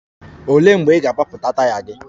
Olee mgbe ị ga-agbapụta taya gị?